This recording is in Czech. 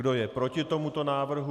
Kdo je proti tomuto návrhu?